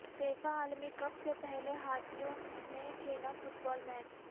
FIFA عالمی cup سے پہلے ہاتھیوں نے کھیلا فٹ بال میچ